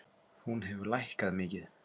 Hún hefur lækkað mikið.